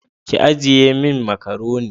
Ki ajiye min macaroni